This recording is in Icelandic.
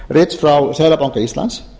rits frá seðlabanka íslands